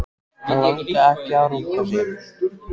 Hann langaði ekki að runka sér.